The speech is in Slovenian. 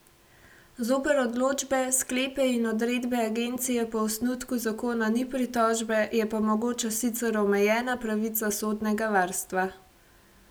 Zoper odločbe, sklepe in odredbe agencije po osnutku zakona ni pritožbe, je pa mogoča sicer omejena pravica sodnega varstva.